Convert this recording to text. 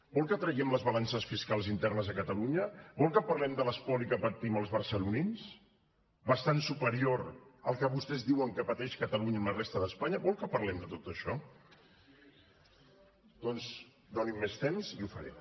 vol que traiem les balances fiscal internes a catalunya vol que parlem de l’espoli que patim els barcelonins bastant superior al que vostès diuen que pateix catalunya amb la resta d’espanya vol que parlem de tot això doncs doni’m més temps i ho faré